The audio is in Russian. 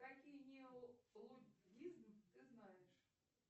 какие неолуддизм ты знаешь